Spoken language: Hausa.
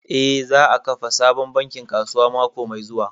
Eh, za a kafa sabon bankin kasuwa mako mai zuwa